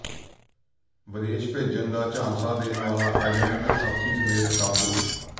ਵਿਦੇਸ਼ ਭੇਜਣ ਦਾ ਝਾਂਸਾ ਦੇਣ ਵਾਲਾ ਏਜੰਟ ਸਾਥੀ ਸਮੇਤ ਕਾਬੂ